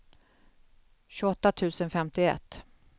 tjugoåtta tusen femtioett